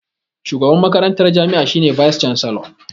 Shugaban makarantar jami'a shi ne "Vice chancellor".